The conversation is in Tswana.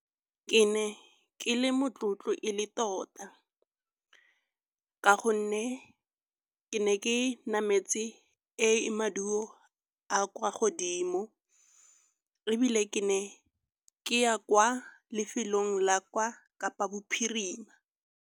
Ke ne ke le motlotlo e le tota ka gonne ke ne ke nametse e maduo a kwa godimo. Ebile ke ne ke ya kwa lefelong la kwa Kapa Bophirima.